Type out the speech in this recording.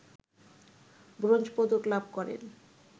bronze পদক লাভ করেন